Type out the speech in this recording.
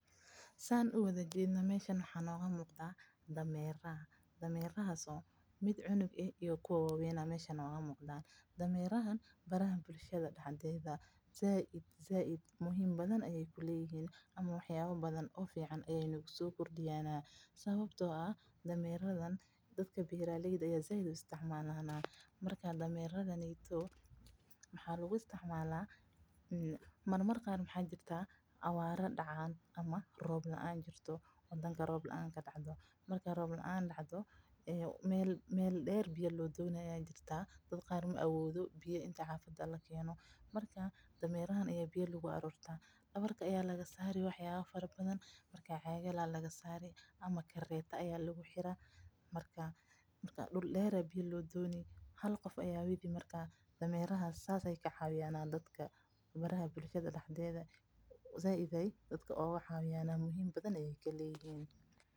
Saan uwada jeedo waxaa noo muqdaa daneera, sait ayeey muhiim uyihiin, sababta oo ah beeraleyda ayaa isticmaalana marmar qaar roob laan ayaa dacdaa meel deer ayaa biya loo dona marka dameraha ayaa dabarka looga saara, dameraha bulshada dexdeeda muhiim weyn ayeey ka leeyihiin.